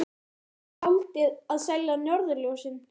Ætlið þið að gera eins og skáldið og selja norðurljósin?